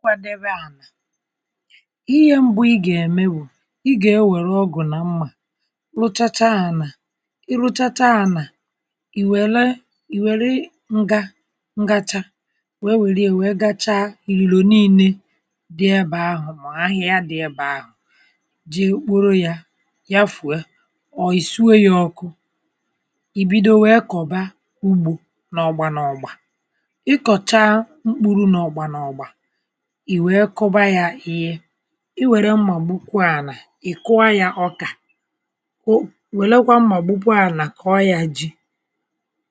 Nkwàdebè à ihe mbụ̀ ị ga-emè bụ̀ ị ga-ewerè ọgụ̀ na mmà rụchàchà ànà ị rụchachà ànà i welè i werè ngà ngàchà wee werè yà gachaà ililò nine dị̀ ebe ahụ̀ mà ahịhà dị̀ ebe ahụ̀ jè kporò yà yafuè or i suwè yà ọkụ̀ ibidò wee kọbà ugbò n’ọgbà n’ọgbà ị kọchà m̄kpụrù n’ọgbà n’ọgbà i wee kụ̀bà yà ihe i werè mmà gbukwà ànà ị kụọ̀ yà ọkà kwò welèkwà mmà gbukwò ànà kụọ̀ yà jì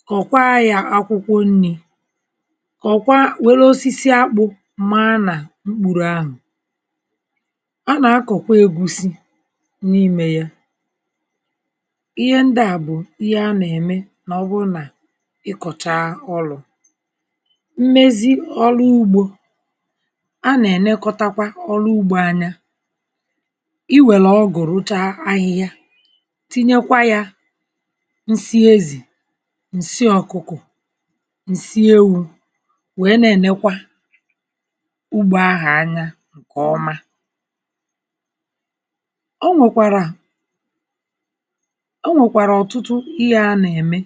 kọkwà yà akwụkwọ̀ nnì kọkwà welè osisi akpụ̀ maanà mkpurù ahụ̀ a na-akọ̀kwà egwùsì n’imè yà ihe ndị̀ à bụ̀ ihe a na-emè maọ̀bụ̀rụ̀ nà ị lọchà ọlụ̀ mmezì ọlụ̀ ugbò a na-enekọ̀tàkwà ọlụ̀ ugbò anyị̀ i werè ọgụ̀ rụchà ahịhịà tinyèkwà yà nsị̀ ezì nsị̀ ọkụ̀kọ̀ nsị̀ ewù wee na-enekwà ugbò ahụ̀ anya nkè ọmà ọ nwèkwarà o nwèkwàrà ọtụtụ ihe a na-emè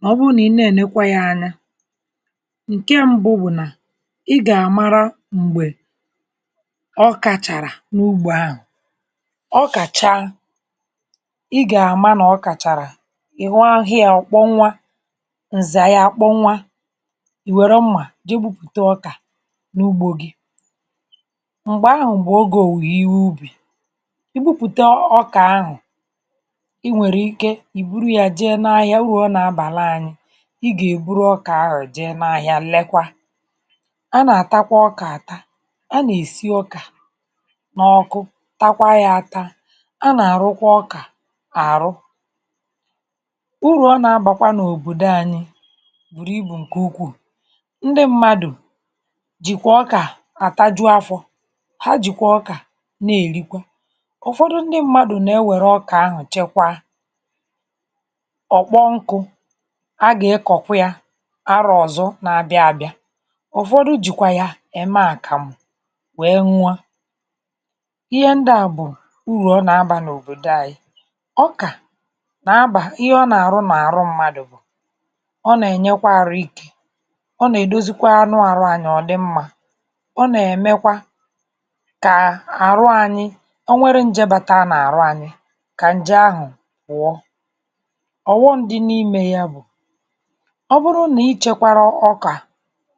maọ̀bụ̀rụ̀ nà ị na-enekwà yà anya nkè mbụ̀ bụ̀ nà ị ga-amarà m̄gbè ọkà charà n’ugbò ahụ̀ ọkà chaa ị ga-amà n’ọkà charà ị ghọrọ̀ hà yà ọkpọnwụ à nzà yà akpọnwụ à i werè mmà jè gbùpùtà ọkà n’ugbò gì m̄gbè ahụ̀ bụ̀ m̄gbè ogè owùwù ihe ubì i gbùpùtà ọkà ahụ̀ i nwerè ike i burù yà jeè n’ahịà, o nwè urù ọ na-abàrà anyị̀ ị ga-eburù ọkà ahụ̀ jeè n’ahịà lekwà a na-atàkwà ọkà atà a na-esì ọkà n’ọkụ̀ takwà yà atà a na-arụ̀kwà ọkà arụ̀ urù ọ na-abàkwà n’òbodò anyị̀ burù ibù nkè ukwuù ndị̀ mmadụ̀ jìkwà ọkà atàjù afọ̀ ha jikẁ ọkà na-erikwà ụfọdụ̀ ndị̀ mmadụ̀ na-ewerè ọkà ahụ̀ chekwà ọ kponkụ̀ a ga-akọ̀kwà yà arọ̀ ọzọ̀ na-abịà abịà ụfọdụ̀ jikwà yà emè akamụ̀ wee n̄ụọ̀ à ihe ndị à bụ̀ urù ọ na-abà n’òbodò anyị̀ ọkà ga-abà ihe ọ na-arụ̀ n’arụ̀ mmadụ̀ ọ na-enyekwà arụ̀ ike ọ na-edozìkwà anụ̀ arụ̀ anyị̀ ọ dị̀ mmà ọ na-emekwà kà arụ̀ anyị̀ e nwerè njè batarà n’arụ̀ anyị̀ kà njè ahụ̀ pụọ̀ ọghọm dị̀ n’imè yà bụ̀ ọ bụrụ̀ nà ị chekwarà ọkà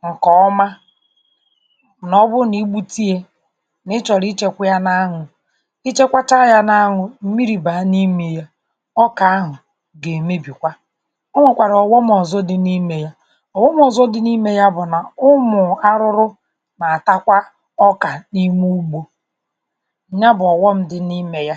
nkè ọmà nà ọ bụ̀ nà igbutà yà nà ị chọ̀rọ̀ịchekwà yà n’anwụ̀ i chekwatà yà n’anwụ̀ mmiri baa n’imè yà ọkà ahụ̀ ga-emebìkwà o nwekwarà ọghọm ọzọ̀ dị̀ n’imè yà ọghọm ọzọ̀ dị̀ n’imè bụ̀ nà ụmụ̀ arụ̀rụ̀ na-atakwà ọkà n’imè ugbò nyà bụ̀ ọghọm dị̀ n’imè yà